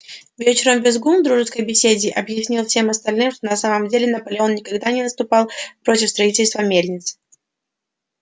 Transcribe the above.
вечером визгун в дружеской беседе объяснил всем остальным что на самом деле наполеон никогда не выступал против строительства мельницы